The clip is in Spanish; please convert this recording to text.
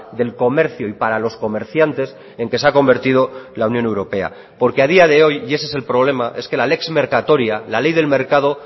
del comercio y para los comerciantes en que se ha convertido la unión europea porque a día de hoy y ese es el problema es que la lex mercatoria la ley del mercado